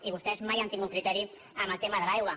i vostès mai han tingut criteri en el tema de l’aigua